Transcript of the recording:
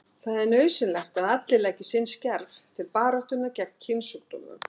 Það er nauðsynlegt að allir leggi sinn skerf til baráttunnar gegn kynsjúkdómum.